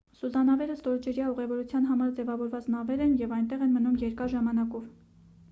սուզանավերը ստորջրյա ուղևորության համար ձևավորված նավեր են և այնտեղ են մնում երկար ժամանակով